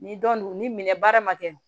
Ni dɔn ni minɛ baara ma kɛ